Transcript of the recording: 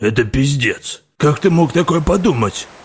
это пиздец как ты мог такое подумать